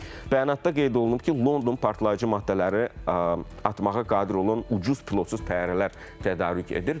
Bəyanatda qeyd olunub ki, London partlayıcı maddələri atmağa qadir olan ucuz pilotsuz təyyarələr tədarük edir.